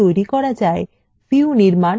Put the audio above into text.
ক views নির্মাণ ও